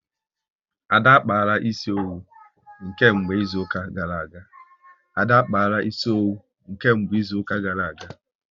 Ada akpaala ịsị owu nke mgbe izuka gara aga